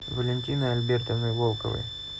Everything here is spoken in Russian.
валентиной альбертовной волковой